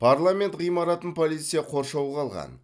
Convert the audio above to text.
парламент ғимаратын полиция қоршауға алған